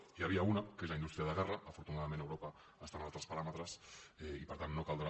n’hi havia una que és la indústria de guerra afortunadament europa està en altres paràmetres i per tant no caldrà